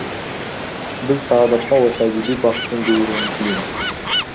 біз сағадатқа осы әдеби бақыттың бұйыруын тілейміз